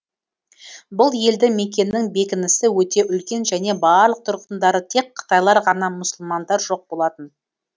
бұл елді мекеннің бекінісі өте үлкен және барлық тұрғындары тек қытайлар ғана мұсылмандар жоқ болатын